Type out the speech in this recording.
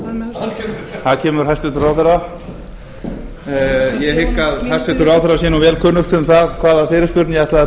í salinn þar kemur hæstvirtur ráðherra ég hygg að hæstvirtur ráðherra sé nú vel kunnugt um það hvaða fyrirspurn ég ætlaði að bera